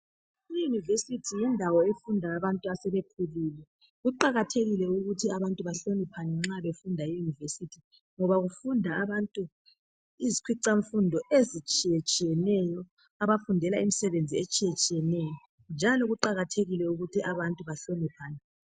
Iyunivesithi yindawo efunda abantu asebekhule .Kuqakathekile ukuthi abantu bahloniphane nxa befunda e yunivesithi ngoba kufunda abantu, izikhwicamfundo ezitshiyetshiyeneyo abafundela imisebenzi etshiyetshiyeneyo njalo kuqakathekile ukuthi abantu bahloniphane